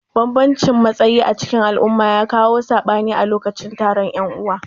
Banbamcin matsayi acikin al'umma ya kawo sabani a lokacin taron yan'uwa.